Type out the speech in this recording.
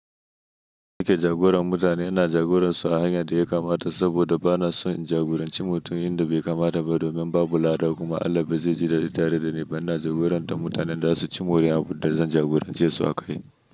Ni ke jagoran mutane, ina jagoransu a hanyar da ya kamata, saboda ba na son in jagoranci mutum inda bai kamata ba, domin babu lada kuma Allah ba ze ji daɗi dare da ni ba ina jagorantar mutanen da za su ci moriya abunnda zan jagorance su a kai.